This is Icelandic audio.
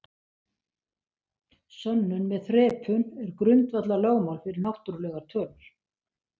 Sönnun með þrepun er grundvallarlögmál fyrir náttúrlegar tölur.